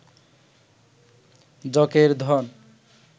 যকের ধন